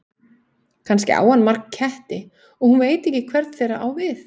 Kannski á hann marga ketti og hún veit ekki hvern þeirra hann á við.